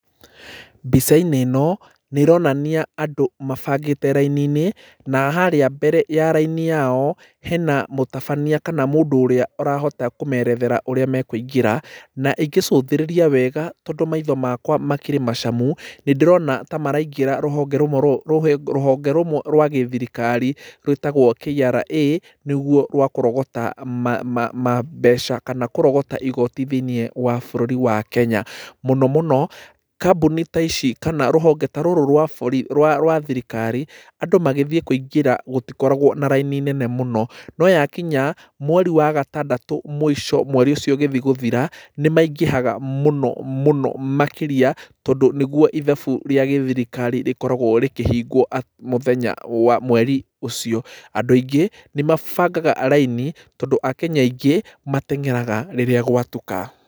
Mbica-inĩ ĩno nĩ ĩronania andũ mabangĩte raini-inĩ na harĩa mbere ya raini yao hena mũtabania kana mũndũ ũrĩa ũrahota kũmerethera ũrĩa mekũingĩra. Na ingĩcũthĩrĩria wega tondũ maitho makwa makĩrĩ macamu, nĩ ndĩrona ta maraingĩra rũhonge rũmwe rwa gĩthirikari rwĩtagwo KRA nĩruo rwa kũrogota mbeca kana kũrogota igooti thĩiniĩ wa bũrũri wa Kenya. Mũno mũno kambuni ta ici kana rũhonge ta rũrũ rwa thirikari, andũ magĩthiĩ kũingĩra gũtikoragwo na raini nene mũno, no gwakinya mweri wa gatandatũ mũico mweri ũcio ũgĩthiĩ gũthira, nĩ maingĩhaga mũno mũno makĩria, tondũ nĩguo ithabu rĩa gĩthirikari rĩkoragwo rĩkĩhingwo mũthenya wa mweri ũcio. Andũ aingĩ nĩ mabangaga raini tondũ akenya aingĩ matengeraga rĩrĩa gwatuka.